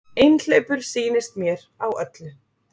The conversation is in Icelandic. Einhleypur sýnist mér á öllu.